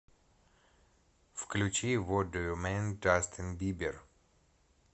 включи вот ду ю мин джастин бибер